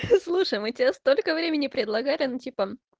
слушай мы тебе столько времени предлагали ну типа